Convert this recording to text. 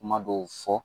Kuma dɔw fɔ